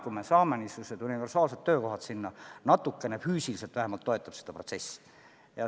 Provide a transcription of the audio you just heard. Kui me saame sinna niisugused universaalsed töökohad, siis need vähemalt füüsiliselt natukene toetavad seda protsessi.